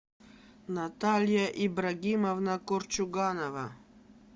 наталья ибрагимовна корчуганова